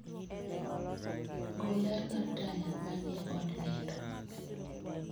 gol ler mar taya manie od nindo